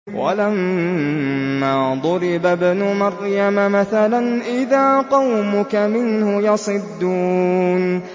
۞ وَلَمَّا ضُرِبَ ابْنُ مَرْيَمَ مَثَلًا إِذَا قَوْمُكَ مِنْهُ يَصِدُّونَ